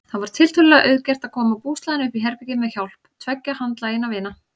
Það var tiltölulega auðgert að koma búslóðinni uppí herbergið með hjálp tveggja handlaginna vina.